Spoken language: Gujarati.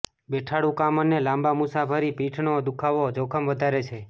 બેઠાડુ કામ અને લાંબા મુસાફરી પીઠનો દુખાવો જોખમ વધારે છે